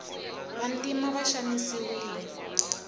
vantima va xanisiwile